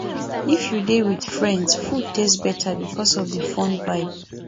if you dey with friends food taste better because of the fun vibe